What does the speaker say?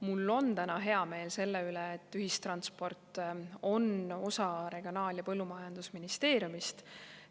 Mul on täna hea meel selle üle, et ühistransport on osa Regionaal‑ ja Põllumajandusministeeriumist.